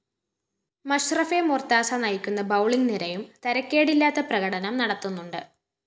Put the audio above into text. മഷ്‌റഫെ മൊര്‍താസ നയിക്കുന്ന ബൌളിംഗ്‌ നിരയും തരക്കേടില്ലാത്ത പ്രകടനം നടത്തുന്നുണ്ട്